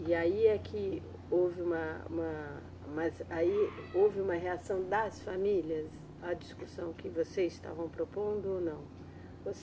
E aí é que houve uma, uma, mas aí houve uma reação das famílias à discussão que vocês estavam propondo ou não?